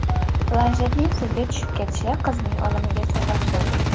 Planshetning suvga tushib ketishi qizning o‘limiga sabab bo‘lgan.